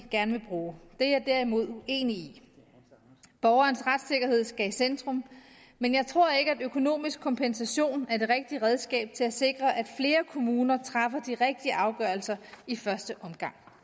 gerne vil bruge er jeg derimod uenig i borgerens retssikkerhed skal i centrum men jeg tror ikke at økonomisk kompensation er det rigtige redskab til at sikre at flere kommuner træffer de rigtige afgørelser i første omgang